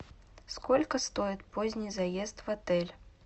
сколько стоит поздний заезд в отель